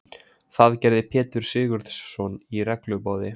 Það gerði Pétur Sigurðsson regluboði.